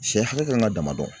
Sɛ hakɛ kan ka dama dɔn